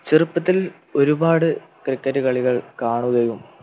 ചെറുപ്പത്തിൽ ഒരുപാട് Cricket കളികൾ കാണുകയും